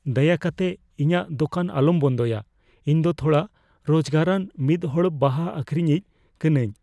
ᱫᱟᱭᱟ ᱠᱟᱛᱮᱫ ᱤᱧᱟᱜ ᱫᱳᱠᱟᱱ ᱟᱞᱚᱢ ᱵᱚᱱᱫᱚᱭᱟ ᱾ ᱤᱧ ᱫᱚ ᱛᱷᱚᱲᱟ ᱨᱳᱡᱜᱟᱨᱟᱱ ᱢᱤᱫ ᱦᱚᱲ ᱵᱟᱦᱟ ᱟᱹᱠᱷᱨᱤᱧᱤᱡ ᱠᱟᱹᱱᱟᱹᱧ ᱾